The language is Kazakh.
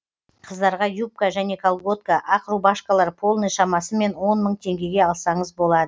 қыздарға юбка және колготка ақ рубашкалар полный шамасымен он мың теңгеге алсаңыз болады